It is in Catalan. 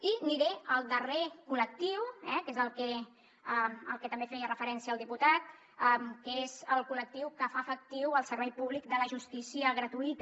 i aniré el darrer col·lectiu que és al que també feia referència al diputat que és el col·lectiu que fa efectiu el servei públic de la justícia gratuïta